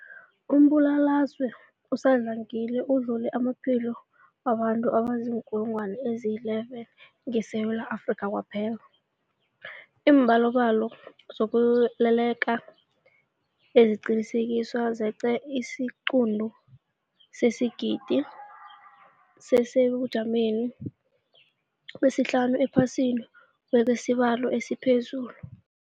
Umbulalazwe usadlangile udlule namaphilo wabantu abaziinkulungwana ezi-11 ngeSewula Afrika kwaphela. Iimbalobalo zokutheleleka eziqinisekisiweko zeqe isiquntu sesigidi, sisesebujameni besihlanu ephasini ngokwesibalo esiphezulu.